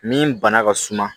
Min bana ka suma